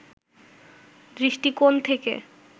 দৃষ্টিকোণ থেকে